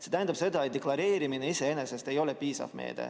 See tähendab seda, et deklareerimine iseenesest ei ole piisav meede.